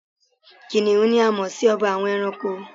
Kìnìún ni a mọ̀ si ọba àwọn ẹranko